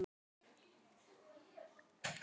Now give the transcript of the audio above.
Lokaorðin í bréfinu gleðja hann mest.